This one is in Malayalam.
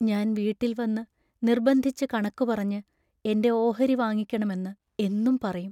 ഞാൻ വീട്ടിൽ വന്നു നിർബന്ധിച്ചു കണക്കു പറഞ്ഞ് എന്റെ ഓഹരി വാങ്ങിക്കണമെന്ന് എന്നും പറയും.